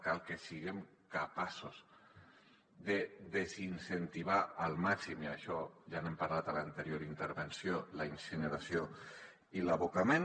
cal que siguem capaços de desincentivar al màxim i d’això ja n’hem parlat a l’anterior intervenció la incineració i l’abocament